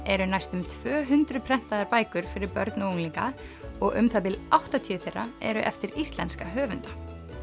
eru næstum tvö hundruð prentaðar bækur fyrir börn og unglinga og um það bil áttatíu þeirra eru eftir íslenska höfunda